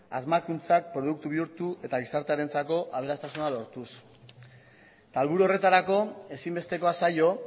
asmakuntzak produktu bihurtu eta gizartearentzako aberastasuna lortuz eta helburu horretarako ezinbestekoa zaio